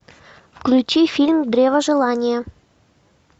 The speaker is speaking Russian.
включи фильм древо желания